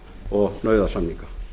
og nauðasamninga